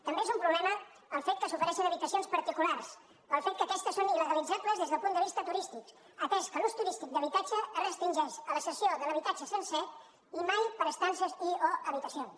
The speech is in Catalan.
també és un problema el fet que s’ofereixin habitacions particulars pel fet que aquestes són ildes del punt de vista turístic atès que l’ús turístic d’habitatges es restringeix a la cessió de l’habitatge sencer i mai per estances i o habitacions